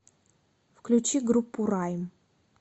включи группу райм